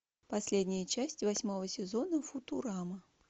последняя часть восьмого сезона футурама